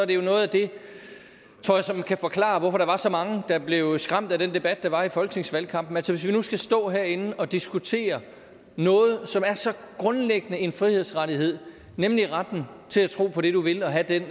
det er noget af det som kan forklare hvorfor der var så mange der blev skræmt af den debat der var under folketingsvalgkampen altså skal stå herinde og diskutere noget som er så grundlæggende en frihedsrettighed nemlig retten til at tro på det du vil og have den